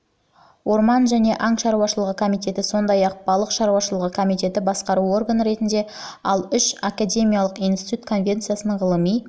орман және аң шаруашылығы комитеті сондай-ақ балық шаруашылығы комитеті басқару органы ретінде ал үш академиялық институт конвенцияның ғылыми